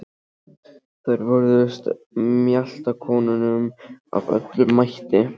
Þær vörðust mjaltakonunum af öllum mætti.